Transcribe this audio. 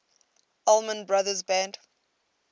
allman brothers band